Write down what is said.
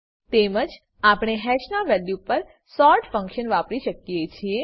તેમજ આપણે હેશના વેલ્યુ પર સોર્ટ ફંક્શન વાપરી શકીએ છીએ